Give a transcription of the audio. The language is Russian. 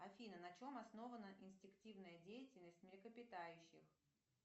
афина на чем основана инстинктивная деятельность млекопитающих